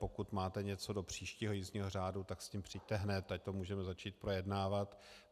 Pokud máte něco do příštího jízdního řádu, tak s tím přijďte hned, ať to můžeme začít projednávat.